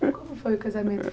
Como foi o casamento?